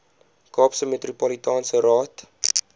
kaapse metropolitaanse raad